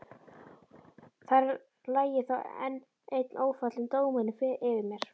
Þar lægi þá enn einn ófallinn dómurinn yfir mér.